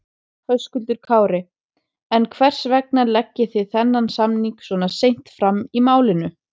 Höskuldur Kári: En hvers vegna leggið þið þennan samning svona seint fram í málinu?